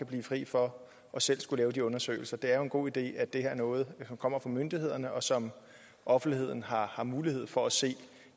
blive fri for selv at skulle lave de undersøgelser det er jo en god idé at det er noget der kommer fra myndighederne og som offentligheden har har mulighed for at se